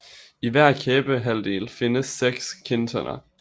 I hver kæbehalvdel findes seks kindtænder